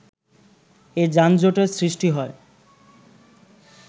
এ যানজটের সৃষ্টি হয়